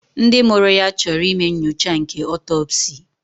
Ndị mụrụ ya chọrọ ime nyocha nke otopsi